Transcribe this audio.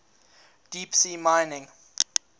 deep sea mining